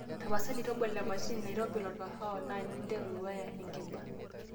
tapasali tobolo e mashini naitobir olkahawa na ninteru wyre enkiba